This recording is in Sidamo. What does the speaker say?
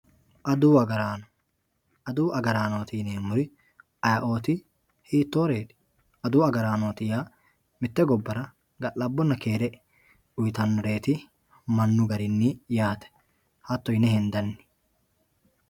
Adawu agarano, adawu agaraano yineemori ayee'oti hiitoreti, adawu agaranoti yaa mite gobbara ga'labonna keere uyitanoreeti manu garinni yaate, hato yine hendanni